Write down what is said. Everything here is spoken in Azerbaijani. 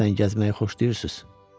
Deyəsən gəzməyi xoşlayırsız.